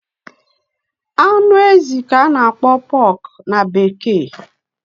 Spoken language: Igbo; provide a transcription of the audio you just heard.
anụ si ezi a na-akpọ ya pork na bekee